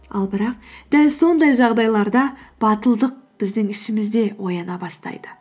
ал бірақ дәл сондай жағдайларда батылдық біздің ішімізде ояна бастайды